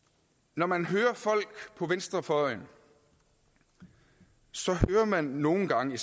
når man hører folk på venstrefløjen så hører man nogle gange